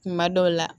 Kuma dɔw la